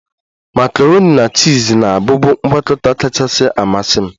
Makaroni na chiz na-abụbu ngwakọta kachasị amasị m